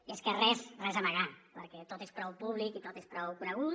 i és que res res a amagar perquè tot és prou públic i tot és prou conegut